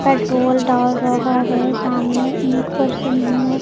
Petrol डाल रहा है सामने एक पर्सन है।